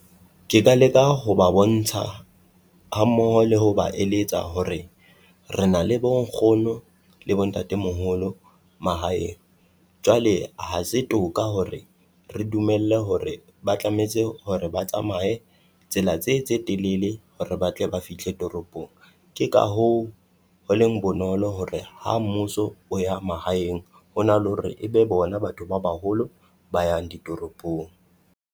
Ke ka leka ho ba bontsha hammoho le ho ba eletsa hore re na le bo nkgono le bo ntatemoholo mahaeng. Jwale ha se toka hore re dumelle hore ba tlametse hore ba tsamaye tsela tse tse telele hore ba tle ba fihle toropong. Ke ka hoo, ho leng bonolo hore ha mmuso o ya mahaeng, ho na le hore e be bona batho ba baholo ba yang ditoropong.